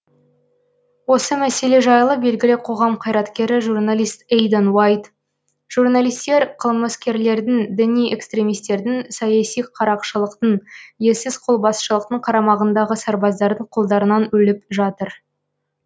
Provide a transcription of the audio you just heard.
осы мәселе жайлы белгілі қоғам қайраткері журналист эйдан уайт журналистер қылмыскерлердің діни экстремистердің саяси қарақшылықтың ессіз қолбасшылықтың қарамағындағы сарбаздардың қолдарынан өліп жатыр